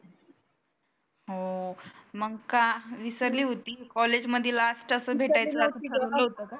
हो मग का विसरली होती कॉलेज मध्ये लास्ट असं भेटायचंं